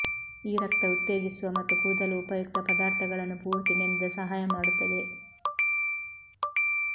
ಈ ರಕ್ತ ಉತ್ತೇಜಿಸುವ ಮತ್ತು ಕೂದಲು ಉಪಯುಕ್ತ ಪದಾರ್ಥಗಳನ್ನು ಪೂರ್ತಿ ನೆನೆದ ಸಹಾಯ ಮಾಡುತ್ತದೆ